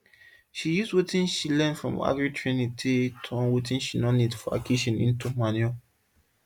she use watin she learn from agri training take turn watin she no need for her kitchen into manure